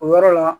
O yɔrɔ la